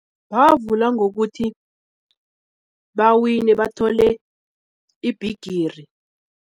Bavula ngokuthi bawine bathole ibhigiri.